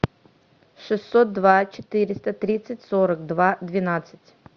шестьсот два четыреста тридцать сорок два двенадцать